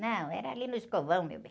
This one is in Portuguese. Não, era ali no escovão, meu bem.